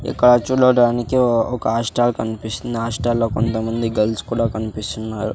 ఇక్కడ చూడడానికి ఒక హాస్టల్ కనిపిస్తుంది హాస్టల్ లో కొంతమంది గర్ల్స్ కూడా కనిపిస్తున్నారు.